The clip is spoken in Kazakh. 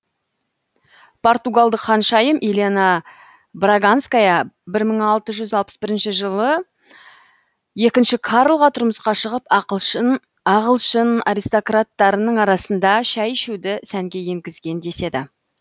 португалдық ханшайым елена браганская мың алты жүз алпыс бірінші жылы екінші карлға тұрмысқа шығып ағылшын аристократтарының арасында шәй ішуді сәнге енгізген деседі